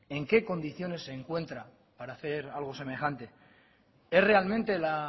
en qué condiciones se encuentra para hacer algo semejante es realmente la